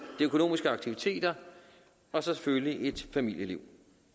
økonomiske aktiviteter og så selvfølgelig at have et familieliv